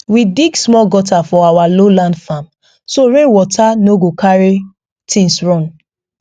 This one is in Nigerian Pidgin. we dig small gutter for our lowland farm so rain water no go carry things run